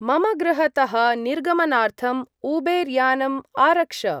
मम गृहतः निर्गमनार्थम् उबेर्‌-यानम् आरक्ष।